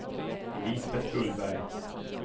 Lisbeth Gullberg